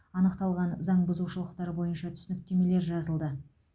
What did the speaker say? анықталған заң бұзушылықтар бойынша түсініктемелер жазылды